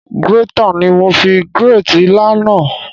Grater ni mo fi grate ilá náà.